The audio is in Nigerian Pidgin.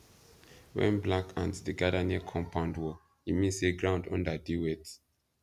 when black ants dey gather near compound wall e mean say ground under dey wet